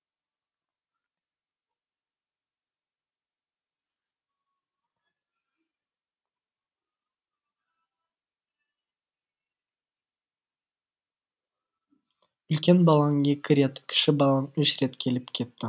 үлкен балаң екі рет кіші балаң үш рет келіп кетті